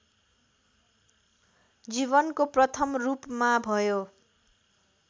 जीवनको प्रथम रूपमा भयो